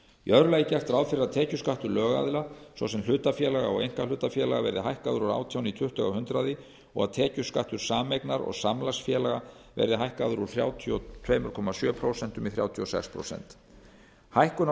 í öðru lagi er gert ráð fyrir að tekjuskattur lögaðila svo sem hlutafélaga og einkahlutafélaga verði hækkaður úr átján prósent í tuttugu prósent og að tekjuskattur sameignar og samlagsfélaga verði hækkaður úr þrjátíu og tvö komma sjö prósent í þrjátíu og sex prósenta hækkun á